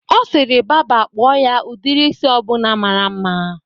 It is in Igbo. Ọ sịrị baba kpụọ ya udiri isi ọbụna mara mma